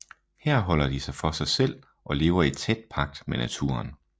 Her holder de sig for sig selv og lever i tæt pagt med naturen